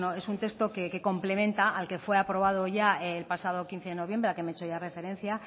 es un texto que complementa al que fue aprobado ya el pasado quince de noviembre al que he hecho ya referencia